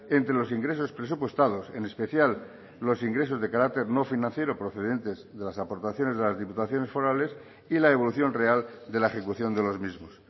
entre los ingresos presupuestados en especial los ingresos de carácter no financiero procedentes de las aportaciones de las diputaciones forales y la evolución real de la ejecución de los mismos